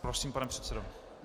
Prosím, pane předsedo.